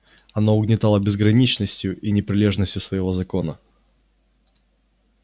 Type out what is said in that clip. она угнетала безграничностью и непрележностью своего закона